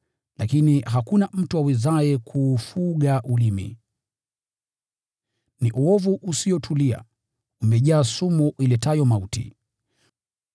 lakini hakuna mtu awezaye kuufuga ulimi. Ni uovu usiotulia, umejaa sumu iletayo mauti.